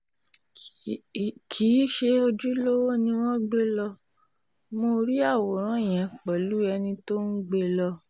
kì í ṣe ojúlówó ni wọ́n gbé lọ mọ́ rí àwòrán yẹn pẹ̀lú ẹni tó ń gbé e lọ